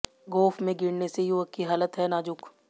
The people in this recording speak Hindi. गोफ में गिरने से युवक की हालत है नाजुक